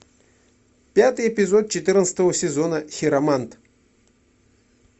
пятый эпизод четырнадцатого сезона хиромант